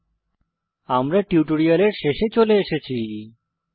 এর সাথেই আমরা টিউটোরিয়ালের শেষে চলে এসেছি